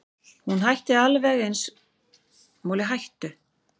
Hún ætti alveg eins að hafa samband við hann ef hún hefur áhuga á honum.